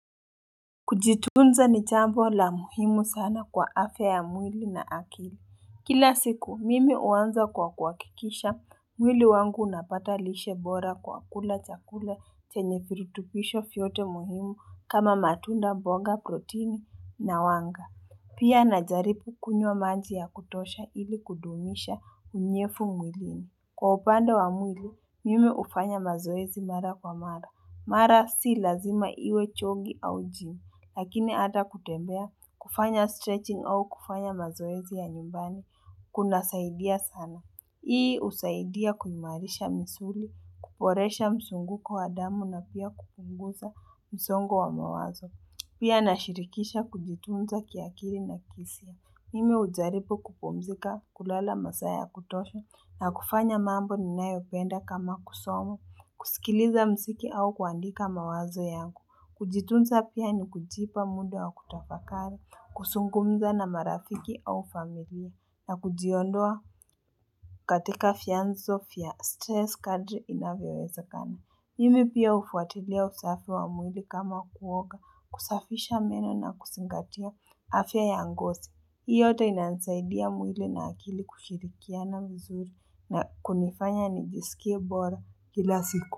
Kujitunza ni chambo la muhimu sana kwa afya ya mwili na akili Kila siku mimi uanza kwa kuwakikisha mwili wangu unapata lishe bora kwa kula chakula chenye firutupisho fiyote muhimu kama matunda mbonga proteini na wanga Pia na jaripu kunywa maji ya kutosha ili kudumisha unyefu mwilini Kwa upande wa mwili mimi ufanya mazoezi mara kwa mara Mara si lazima iwe chogi au gym Lakini ata kutembea, kufanya stretching au kufanya mazoezi ya nyumbani, kunasaidia sana. Hii usaidia kuimarisha misuli, kuporesha msunguko wa damu na pia kupunguza msongo wa mawazo. Pia na shirikisha kujitunza kiakili na kiisia. Mimi ujaripu kupumzika kulala masaa ya kutosha na kufanya mambo ninayo ipenda kama kusomo, kusikiliza mziki au kuandika mawazo yangu. Kujitunza pia ni kujipa muda wa kutafakari, kusungumza na marafiki au familia, na kujiondoa katika fianzo fia stress kadri inavyowezakana. Mimi pia ufuatilia usafi wa mwili kama kuoka, kusafisha meno na kusingatia afya ya ngosi. Hii yote inanisaidia mwili na akili kushirikiana vizuri na kunifanya nijisikie bora kila siku.